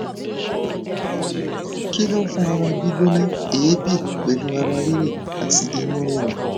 kí ló ń fa ara gbigbona eebi pelu ara rire ati inu rirun